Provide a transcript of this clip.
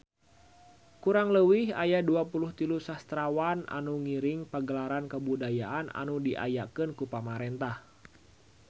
Kurang leuwih aya 23 sastrawan anu ngiring Pagelaran Kabudayaan anu diayakeun ku pamarentah